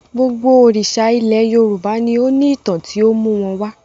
Gbogbo òrìṣà ilẹ̀ Yorùbá ni ó ní ìtàn tó mú wọn wá.